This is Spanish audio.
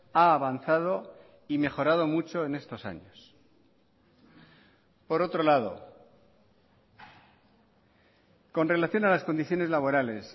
a avanzado y mejorado mucho en estos años por otro lado con relación a las condiciones laborales